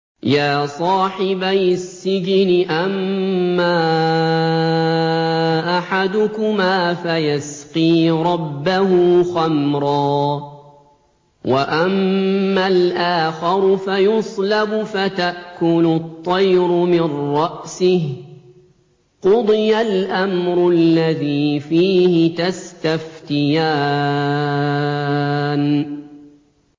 يَا صَاحِبَيِ السِّجْنِ أَمَّا أَحَدُكُمَا فَيَسْقِي رَبَّهُ خَمْرًا ۖ وَأَمَّا الْآخَرُ فَيُصْلَبُ فَتَأْكُلُ الطَّيْرُ مِن رَّأْسِهِ ۚ قُضِيَ الْأَمْرُ الَّذِي فِيهِ تَسْتَفْتِيَانِ